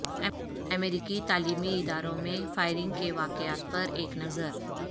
امریکی تعلیمی اداروں میں فائرنگ کے واقعات پر ایک نظر